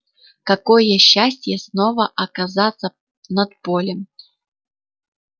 какое счастье снова оказаться над полем